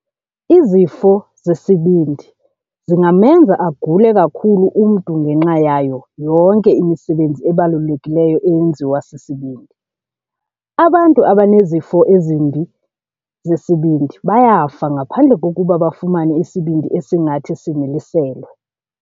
Izifo zesibindi zingamenza agule kakhulu umntu ngenxa yayo yonke imisebenzi ebalulekileyo eyenziwa sisibindi. Abantu abanezifo ezimbi zesibindi bayafa ngaphandle kokuba bafumane isibindi esingathi similiselwe.